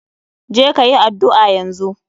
Je ka yi addu'a yanzu.